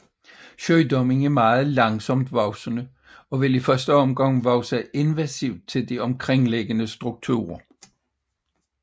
Sygdommen er meget langsomt voksende og vil i første omgang vokse invasivt til de omkringliggende strukturer